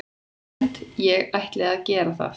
Ég held ég ætli að gera það.